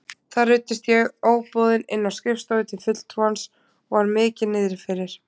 Þar ruddist ég óboðin inn á skrifstofu til fulltrúans og var mikið niðri fyrir.